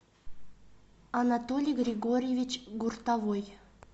анатолий григорьевич гуртовой